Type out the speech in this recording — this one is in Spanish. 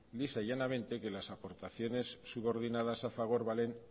lisa y llanamente que las aportaciones subordinadas a fagor valen